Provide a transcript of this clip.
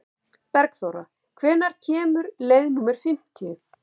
Bergþóra, hvenær kemur leið númer fimmtíu?